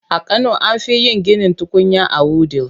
A kano an fi yin ginin tukunya a Wudil.